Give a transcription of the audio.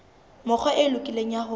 mekgwa e lokileng ya ho